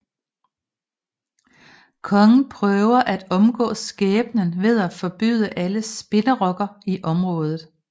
Kongen prøver at omgå skæbnen ved at forbyde alle spinderokker i området